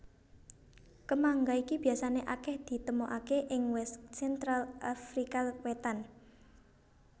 Kemangga iki biasané akèh ditemokaké ing West Central Afrika Wétan